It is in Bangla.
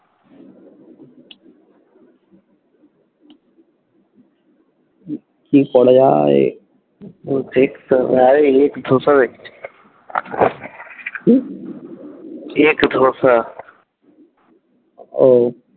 কি করা যায় কি? ও,